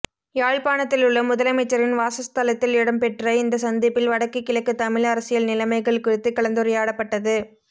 யாழ்ப்பாணத்திலுள்ள முதலமைச்சரின் வாசஸ்தலத்தில் இடம்பெற்ற இந்த சந்திப்பில் வடக்கு கிழக்கு தமிழ் அரசியல் நிலமைகள் குறித்து கலந்துரையாடப்பட்டது